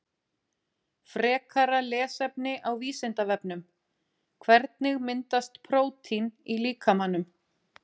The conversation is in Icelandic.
Frekara lesefni á Vísindavefnum Hvernig myndast prótín í líkamanum?